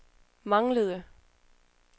manglede